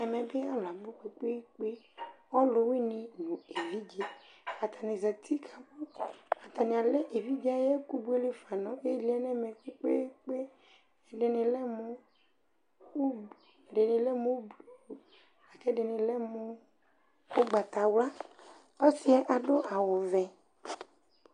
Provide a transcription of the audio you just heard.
Ɛmɛ bɩ alʋ abʋ kpekpekpe, ɔlʋ wɩnɩ nʋ evidze Atanɩ zati ,atanɩ alɛ evidze ayɛkʋ buelefa nʋ ɩɩlɩ nɛmɛ kpekpekpeƐdɩnɩ lɛ mʋ udu ,k' ɛdɩnɩ lɛ mʋ ʋgbatawla ɔsɩɛ adʋ awʋ vɛ